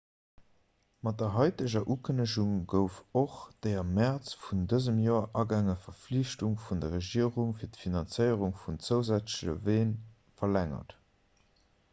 mat der haiteger ukënnegung gouf och déi am mäerz vun dësem joer agaange verflichtung vun der regierung fir d'finanzéierung vun zousätzleche ween verlängert